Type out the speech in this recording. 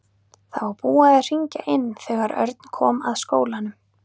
Það var búið að hringja inn þegar Örn kom að skólanum.